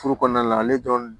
Furu kɔnɔna la ale dɔrɔn